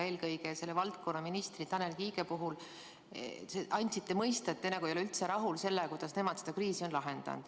Eelkõige andsite selle valdkonna ministri Tanel Kiige puhul mõista, et te nagu ei ole üldse rahul sellega, kuidas nemad seda kriisi on lahendanud.